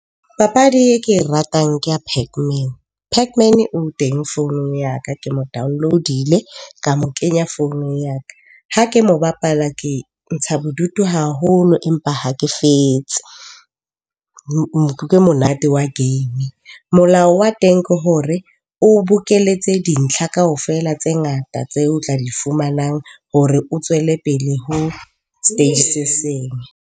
Papadi e ke e ratang, ke ya pac man. Pac man o teng founung ya ka, ke mo download-ile ka mo kenya founung ya ka. Ha ke mo bapala ke ntsha bodutu haholo, empa ha ke fetse ke monate. Molao wa teng ke hore o bokeletse dintlha kaofela tse ngata tseo tla di fumanang hore o tswele pele ho stage se seng.